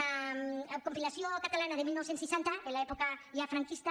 la compilació catalana de dinou seixanta en l’època ja franquista